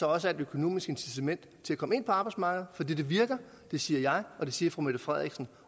også er et økonomisk incitament til at komme ind på arbejdsmarkedet for det virker og det siger jeg og det siger fru mette frederiksen